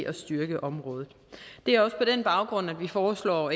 at styrke området det er også på den baggrund at vi foreslår